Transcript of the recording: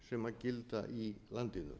lögum sem gilda í landinu